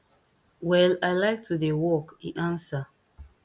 well i like to dey work e ansa